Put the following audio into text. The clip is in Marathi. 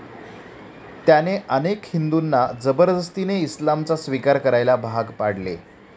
त्याने अनेक हिंदूंना जबरदस्तीने इस्लामचा स्वीकार करायला भाग पडले.